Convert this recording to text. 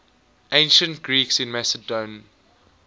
ancient greeks in macedon